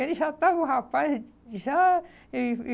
Ele já estava com o rapaz e já... E e